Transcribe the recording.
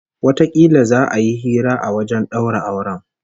Watakila za'a yi hira a wajen daura auren